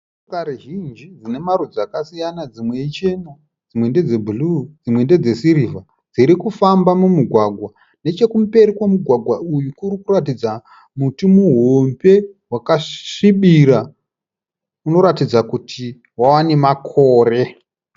Motokari zvinji dzina marudzi akasiyana dzimwe ichena dzimwe ndedzebhuruu dzimwe ndedzesirivha dzirikufamba mumugwagwa. Nechekumberi kwemugwagwa uyu kuri kuratidza muti muhombe wakasvibira unoratidza kuti wava nemakore.